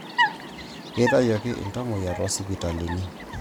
Keitayioki/etuungiaki iltamuoyia toosipitalini